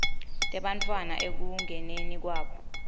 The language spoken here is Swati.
tebantfwana ekungeniseni kwabo